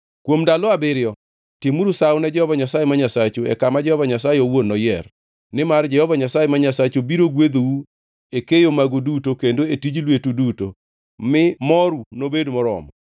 Kuom ndalo abiriyo timuru sawo ne Jehova Nyasaye ma Nyasachu e kama Jehova Nyasaye owuon noyier. Nimar Jehova Nyasaye ma Nyasachu biro gwedhou e keyo magu duto kendo e tij lweteu duto, mi moru nobed moromo.